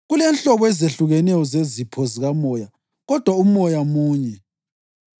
Kulenhlobo ezehlukeneyo zezipho zikamoya kodwa uMoya munye.